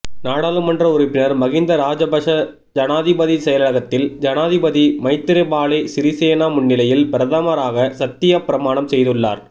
நாடாளுமன்ற உறுப்பினர் மஹிந்த ராஜபக்ஷ ஜனாதிபதி செயலகத்தில் ஜனாதிபதி மைத்திரிபால சிறிசேன முன்னிலையில் பிரதமராக சத்தியப் பிரமாணம் செய்துள்ளார்